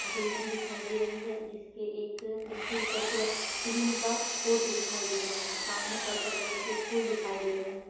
Building दिखाई दे रही है जिसके एक जिसके ऊपर पूरा टीन का पोर्छ दिखाई दे रहा है सामने पर्पल कलर के फूल दिखाई दे रहे है।